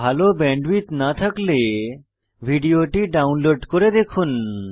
ভাল ব্যান্ডউইডথ না থাকলে ভিডিওটি ডাউনলোড করে দেখুন